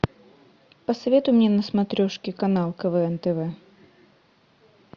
посоветуй мне на смотрешке канал квн тв